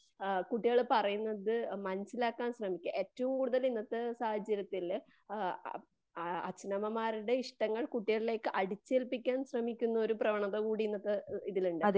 ആ കുട്ടികൾ പറയുന്നത് മനസിലാക്കാൻ ശ്രെമിക്കുക. ഏറ്റവും കൂടുതൽ ഇന്നത്തെ സാഹചര്യത്തില്ആ അച്ഛനമ്മമാരുടെ ഇഷ്ടങ്ങൾ കുട്ടികളിലേക്ക് അടിച്ചേൽപിക്കാൻ ശ്രെമിക്കുന്ന ഒരു പ്രവണതകൂടി ഇന്നത്തെ ഇതിലുണ്ട്.